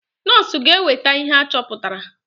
Nọs ga eweta ihe achọpụtara.